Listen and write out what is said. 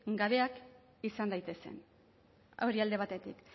gabeak izan daitezen hori alde batetik